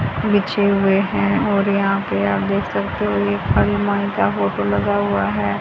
बिछे हुए हैं और यहाँ पे आप देख सकते हो एक हनुमान का फोटो लगा हुवा हैं।